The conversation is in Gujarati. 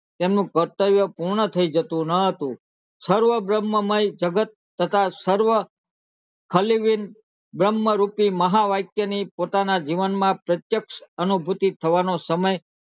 તેમનું કર્તવ્ય પૂર્ણ થઈ જતું ન હતું સર્વબ્રહ્મ માં માંથી જગત તથા સર્વ ખલીલ બ્રહ્મ રૂપી મહાકાવ્ય માં ની પોતાના જીવન માં અનુભૂતિ થવાનો સમય